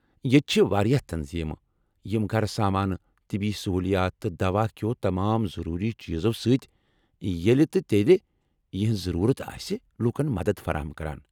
ییتہِ چھے٘ واریاہ تنظیمہٕ یِم گھر سامانہٕ ، طبی سہولیات تہٕ دواہ كہو تمام ضروٗری چیزو سٕتۍ، ییلہِ تہٕ ییتہِ یِہنز ضرورت آسہِ ،لوٗکن مددتھ فراہم کران ۔